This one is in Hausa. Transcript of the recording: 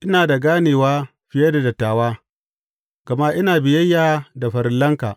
Ina da ganewa fiye da dattawa, gama ina biyayya da farillanka.